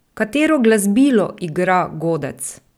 Katero glasbilo igra godec?